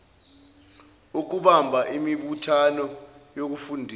ukubamba imibuthano yokufundisa